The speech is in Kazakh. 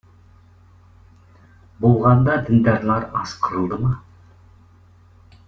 болғанда діндарлар аз қырылды ма